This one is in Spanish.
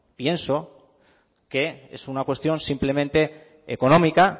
pienso que es una cuestión simplemente económica